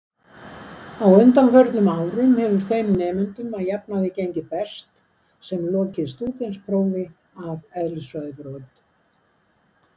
Á undanförnum árum hefur þeim nemendum að jafnaði gengið best sem lokið stúdentsprófi af eðlisfræðibraut.